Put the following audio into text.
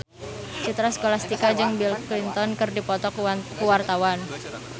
Citra Scholastika jeung Bill Clinton keur dipoto ku wartawan